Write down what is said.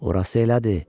Orası elədir,